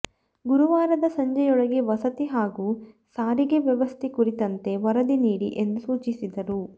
ಗುರುವಾರದ ಸಂಜೆಯೊಳಗೆ ವಸತಿ ಹಾಗೂ ಸಾರಿಗೆ ವ್ಯವಸ್ಥೆ ಕುರಿತಂತೆ ವರದಿ ನೀಡಿ ಎಂದು ಸೂಚಿಸಿದರು